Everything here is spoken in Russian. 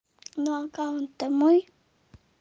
но аккаунт то мой